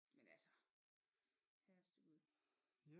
Men altså herreste gud